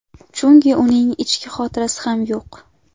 Chunki uning ichki xotirasi ham yo‘q.